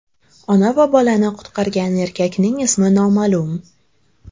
Ona va bolani qutqargan erkakning ismi noma’lum.